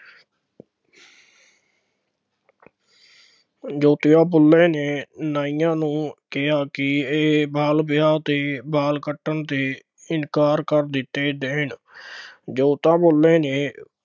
ਜੋਤੀਬਾ ਫੂਲੇ ਨੇ ਨਾਈਆਂ ਨੂੰ ਕਿਹਾ ਕਿ ਇਹ ਬਾਲ ਵਿਆਹ ਤੇ ਵਾਲ ਕੱਟਣ ਤੇ ਇਨਕਾਰ ਕਰ ਦਿੱਤੇ ਦੇਣ। ਜੋਤੀਬਾ ਫੂਲੇ ਨੇ